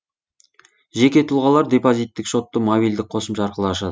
жеке тұлғалар депозиттік шотты мобильдік қосымша арқылы ашады